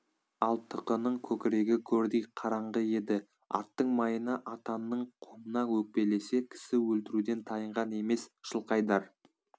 ал тықының көкірегі көрдей қараңғы еді аттың майына атанның қомына өкпелесе кісі өлтіруден тайынған емес жылқайдар